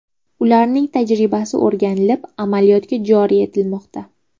Ularning tajribasi o‘rganilib, amaliyotga joriy etilmoqda.